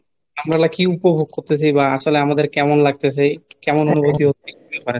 আপনারা কি উপভোগ করতেসি বা আসলে আমাদের কেমন লাগতেসে? কেমন অনুভূতি হতে পারে